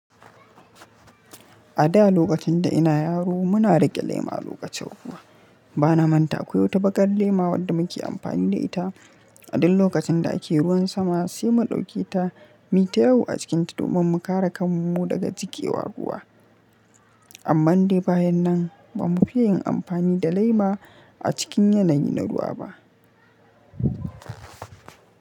A da lokacin da ina yaro muna rage lema lokacin ruwa. Bana manta akwai wata baƙar lema wadda muke amfani da ita. A duk lokacin da ake ruwan sama sai mu ɗauke ta mita yau a cikinta domin mu kare kanmu daga jikewa ruwa. Amman dai bayan nan ba mu fi yin amfani da lema a cikin yanayi na ruwa ba.